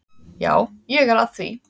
Já, ég er að því.